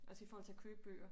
Også i forhold til at købe bøger